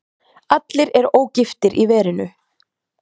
Allir eru ógiftir í verinu.